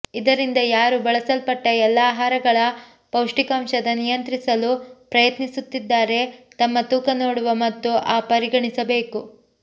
ಇದರಿಂದ ಯಾರು ಬಳಸಲ್ಪಟ್ಟ ಎಲ್ಲಾ ಆಹಾರಗಳ ಪೌಷ್ಟಿಕಾಂಶದ ನಿಯಂತ್ರಿಸಲು ಪ್ರಯತ್ನಿಸುತ್ತಿದ್ದಾರೆ ತಮ್ಮ ತೂಕ ನೋಡುವ ಮತ್ತು ಆ ಪರಿಗಣಿಸಬೇಕು